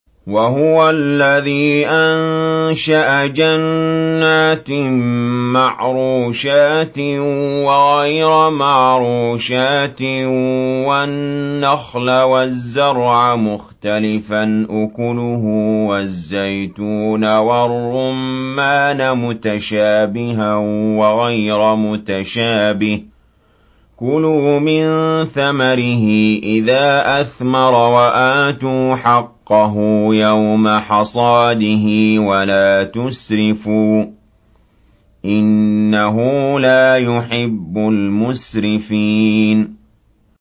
۞ وَهُوَ الَّذِي أَنشَأَ جَنَّاتٍ مَّعْرُوشَاتٍ وَغَيْرَ مَعْرُوشَاتٍ وَالنَّخْلَ وَالزَّرْعَ مُخْتَلِفًا أُكُلُهُ وَالزَّيْتُونَ وَالرُّمَّانَ مُتَشَابِهًا وَغَيْرَ مُتَشَابِهٍ ۚ كُلُوا مِن ثَمَرِهِ إِذَا أَثْمَرَ وَآتُوا حَقَّهُ يَوْمَ حَصَادِهِ ۖ وَلَا تُسْرِفُوا ۚ إِنَّهُ لَا يُحِبُّ الْمُسْرِفِينَ